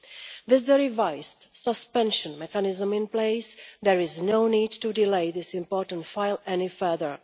With the revised suspension mechanism in place, there is no need to delay this important file any further.